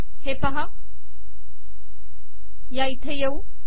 हे पाहा या इथे येऊ